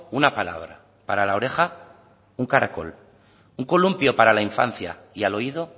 una palabra para la oreja un caracol un columpio para la infancia y al oído